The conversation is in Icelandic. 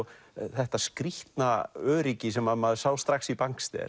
þetta skrýtna öryggi sem að maður sá strax í